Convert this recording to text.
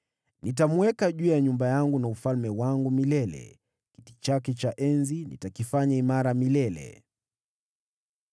Nitamweka juu ya nyumba yangu na ufalme wangu milele; kiti chake cha enzi nitakifanya imara milele.’ ”